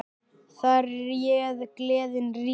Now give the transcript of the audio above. Þar réð gleðin ríkjum.